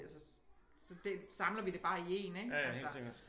Altså så det samler vi det bare i én ik altså